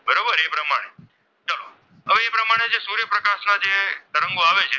તરંગો આવે છે.